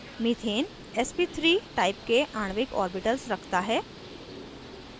methane sp